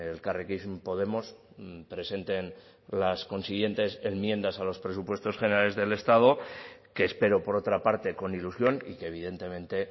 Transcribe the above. elkarrekin podemos presenten las consiguientes enmiendas a los presupuestos generales del estado que espero por otra parte con ilusión y que evidentemente